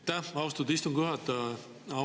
Aitäh, austatud istungi juhataja!